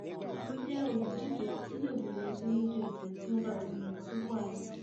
mo jẹ olùdíje tí yóò bẹrẹ iṣẹ lójúẹsẹ tí wọn bá ti yàn mí sípò ààrẹ